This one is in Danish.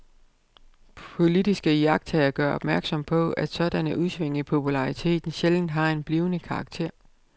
Politiske iagttagere gør opmærksom på, at sådanne udsving i populariteten sjældent har en blivende karakter.